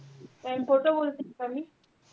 काय मी खोटं बोलतेय का मी?